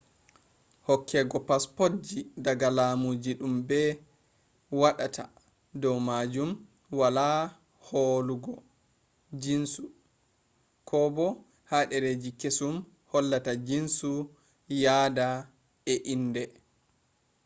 hokkego passpotji daga laamujii dum be waadataa dow maajum wala hoolugo jiinsu xkobo ha dereji kesum hollata jinnsu yaada e indee